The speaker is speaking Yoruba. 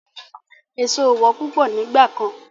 Èso ò wọ́n púpọ̀ nígbà kan.